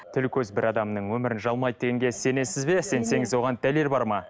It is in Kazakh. тіл көз бір адамның өмірін жалмайды дегенге сенесіз бе сенсеңіз оған дәлел бар ма